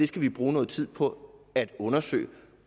skal bruge noget tid på at undersøge